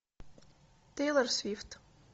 тейлор свифт